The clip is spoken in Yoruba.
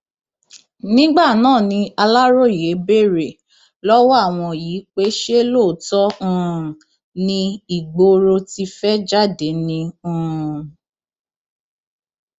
nígbà náà ni aláròye béèrè lọwọ àwọn yìí pé ṣé lóòótọ um ni ìgboro ti fẹẹ jáde ni um